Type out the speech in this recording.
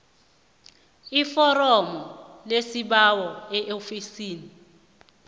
iforomo lesibawo eofisini